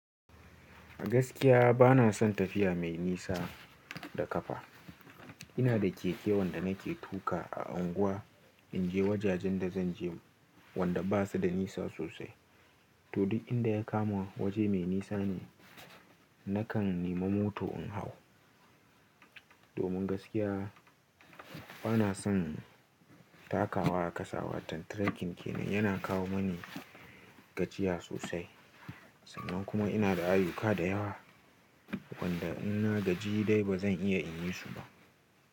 Gaskiya bana son tafiya mai nisa da ƙafa. Ina da keke wanda nake tuƙa a unguwa in je wajajen da zanje wanda basu da nisa sosai. To duk inda ya kama waje mai nisa ne, nakan nema mota in hau. Domin gaskiya bana son takawa a ƙasa. Watan trekking kenan yana kawo mani gajiya sosai. Sannan kuma ina da ayuka da yawa wanda in na gaji dai bazan iya in yi su ba.